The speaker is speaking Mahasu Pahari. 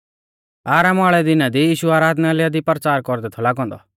आरामा वाल़ै दिना दी यीशु आराधनालय दी परचारा कौरदै थौ लागौ औन्दौ